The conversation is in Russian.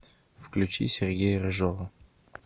включи сергея рыжова